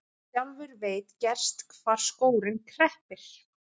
Sjálfur veit gerst hvar skórinn kreppir.